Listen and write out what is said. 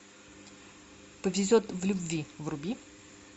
повезет в любви вруби